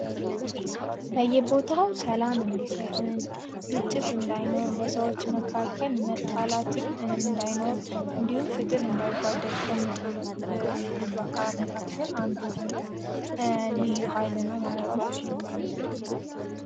በየቦታው ሰላም እንዲሰፍን፤ ግጭት እንዳይኖር በሰዎች መካከል መጣላት እንዳይኖር እንዲሁም ፍትህ እንዳይጓደል ከሚጥሩ አካላት መካከል የሆነው ልዩ ኃይል ማለት ነው።